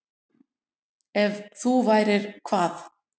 Ef þú værir hvað?